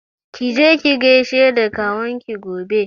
Ki je ki gaishe da kawun ki gobe!